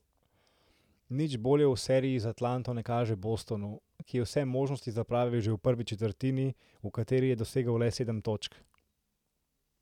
Nič bolje v seriji z Atlanto ne kaže Bostonu, ki je vse možnosti zapravil že v prvi četrtini, v kateri je dosegel le sedem točk.